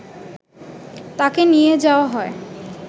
তাকে নিয়ে যাওয়া হয়